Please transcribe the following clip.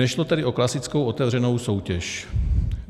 Nešlo tedy o klasickou otevřenou soutěž.